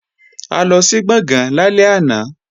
A lọ sí Gbọ̀ngán lálẹ́ àná